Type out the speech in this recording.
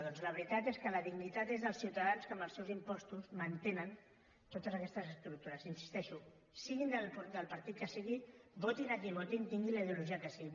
doncs la veritat és que la dignitat és dels ciutadans que amb els seus impostos mantenen totes aquestes estructures hi insisteixo siguin del partit que siguin votin a qui votin tinguin la ideologia que sigui